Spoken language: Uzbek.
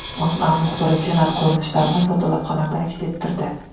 O‘zA muxbiri Senat ko‘rinishlarini fotolavhalarda aks ettirdi .